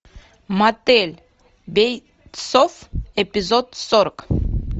мотель бейтсов эпизод сорок